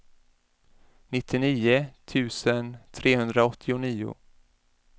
nittionio tusen trehundraåttionio